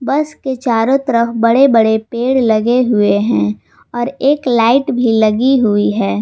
बस के चारों तरफ बड़े बड़े पेड़ लगे हुए हैं और एक लाइट भी लगी हुई है।